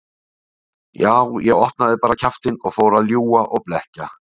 Já, ég opnaði bara kjaftinn og fór að ljúga og blekkja.